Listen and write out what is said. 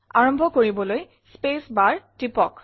আৰম্ভ কৰিবলৈ space bar টিপক